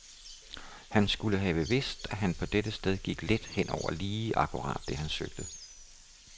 Han skulle bare have vidst, at han på dette sted gik let hen over lige akkurat det han søgte.